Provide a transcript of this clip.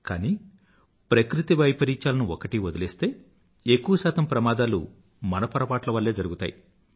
కానీ ప్రకృతివైపరీత్యాలను వదిలేస్తే ఎక్కువ శాతం ప్రమాదాలు మన పొరపాట్ల వల్లే జరుగుతాయి